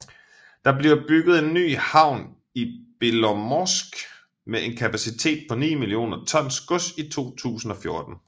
Der bliver bygget en ny havn i Belomorsk med en kapacitet på ni millioner tons gods i 2014